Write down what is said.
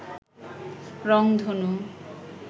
রংধনু